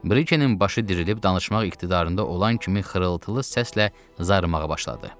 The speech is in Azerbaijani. Brikenin başı dirilib danışmaq iqtidarında olan kimi xırıltılı səslə zarımağa başladı.